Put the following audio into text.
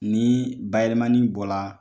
Ni bayɛlɛmani bɔ la